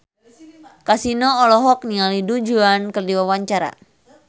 Kasino olohok ningali Du Juan keur diwawancara